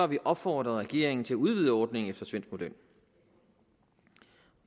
vi opfordret regeringen til at udvide ordningen efter svensk model